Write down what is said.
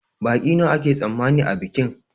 Baƙi nawa ake tsammani a bikin?